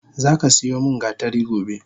Zaka siyo min gatari gobe!